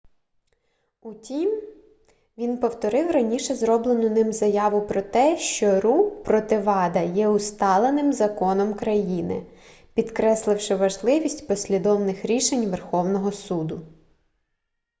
утім він повторив раніше зроблену ним заяву про те що ру проти вада є усталеним законом країни підкресливши важливість послідовних рішень верховного суду